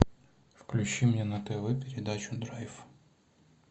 включи мне на тв передачу драйв